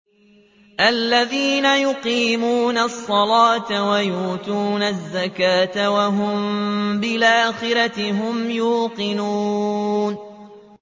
الَّذِينَ يُقِيمُونَ الصَّلَاةَ وَيُؤْتُونَ الزَّكَاةَ وَهُم بِالْآخِرَةِ هُمْ يُوقِنُونَ